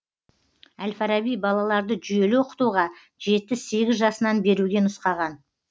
әл фараби балаларды жүйелі оқытуға жеті сегіз жасынан беруге нұсқаған